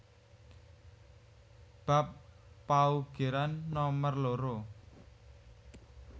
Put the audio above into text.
Bab paugeran nomer loro